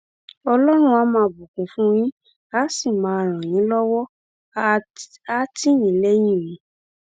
ọlọrun àá máa bùkún fún yín àá sì máa ràn yín lọwọ àá tì yín lẹyìn o